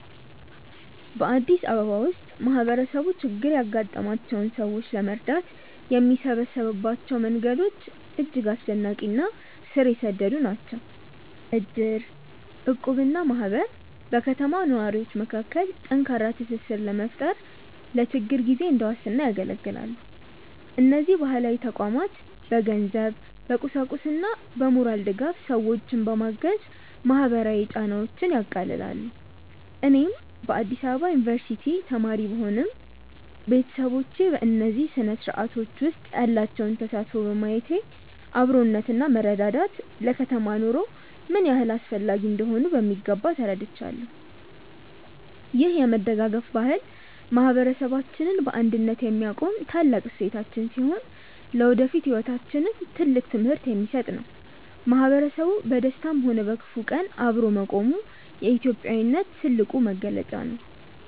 በአዲስ አበባ ውስጥ ማህበረሰቡ ችግር ያጋጠማቸውን ሰዎች ለመርዳት የሚሰበሰብባቸው መንገዶች እጅግ አስደናቂ እና ስር የሰደዱ ናቸው። እድር፣ እቁብ እና ማህበር በከተማው ነዋሪዎች መካከል ጠንካራ ትስስር በመፍጠር ለችግር ጊዜ እንደ ዋስትና ያገለግላሉ። እነዚህ ባህላዊ ተቋማት በገንዘብ፣ በቁሳቁስና በሞራል ድጋፍ ሰዎችን በማገዝ ማህበራዊ ጫናዎችን ያቃልላሉ። እኔም በአዲስ አበባ ዩኒቨርሲቲ ተማሪ ብሆንም፣ ቤተሰቦቼ በእነዚህ ስርአቶች ውስጥ ያላቸውን ተሳትፎ በማየት አብሮነትና መረዳዳት ለከተማ ኑሮ ምን ያህል አስፈላጊ እንደሆኑ በሚገባ ተረድቻለሁ። ይህ የመደጋገፍ ባህል ማህበረሰባችንን በአንድነት የሚያቆም ታላቅ እሴታችን ሲሆን፣ ለወደፊት ህይወታችንም ትልቅ ትምህርት የሚሰጥ ነው። ማህበረሰቡ በደስታም ሆነ በክፉ ቀን አብሮ መቆሙ የኢትዮጵያዊነት ትልቁ መገለጫ ነው።